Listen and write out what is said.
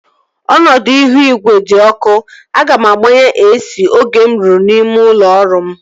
Ọnọdụ ihu igwe di ọkụ. Aga m agbaghe AC oge m ruru n'ime ụlọ ọrụ m